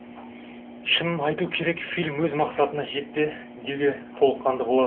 шынын айту керек фильм өз мақсатына жетті деуге толыққанды болады